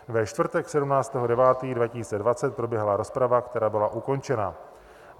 Ve čtvrtek 17. 9. 2020 proběhla rozprava, která byla ukončena.